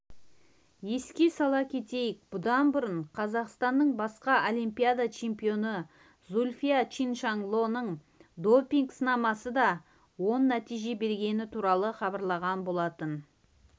еске сала кетейік бұдан бұрын қазақстанның басқа олимпиада чемпионы зүлфия чиншанлоның допинг-сынамасы да оң нәтиже бергені туралы хабарланған болатын